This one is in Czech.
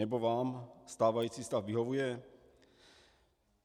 Nebo vám stávající stav vyhovuje?